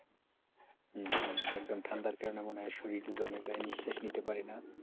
হম হম একদম ঠান্ডার কারণে মনে হয় শরীর জমে যায় নিশ্বাস নিতে পারে না,